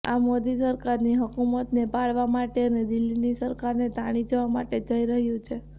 આ મોદી સરકારની હુકુમતને પાડવા માટે અને દિલ્હીની સરકારને તાણી જવા માટે જઈ રહ્યું છે